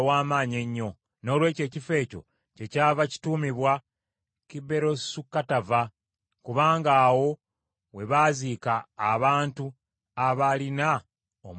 Noolwekyo ekifo ekyo kyekyava kituumibwa Kiberosu Katava, kubanga awo we baaziika abantu abaalina omulugube.